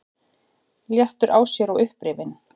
Léttur á sér og upprifinn.